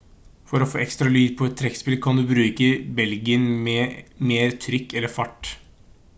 for å få ekstra lyd på et trekkspill kan du bruke belgen med mer trykk eller fart